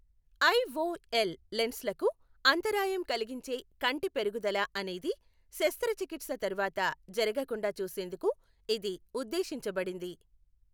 IOL లెన్స్లకు అంతరాయం కలిగించే కంటి పెరుగుదల అనేది శస్త్రచికిత్స తర్వాత జరగకుండా చూసేందుకు ఇది ఉద్దేశించబడింది.